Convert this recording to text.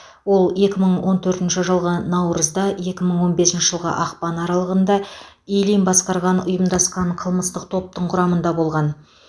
ол екі мың он төртінші жылғы наурыз екі мың он бесінші жылғы ақпан аралығында ильин басқарған ұйымдасқан қылмыстық топтың құрамында болған